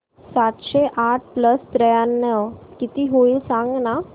सातशे आठ प्लस त्र्याण्णव किती होईल सांगना